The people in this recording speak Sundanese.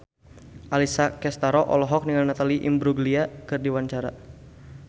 Alessia Cestaro olohok ningali Natalie Imbruglia keur diwawancara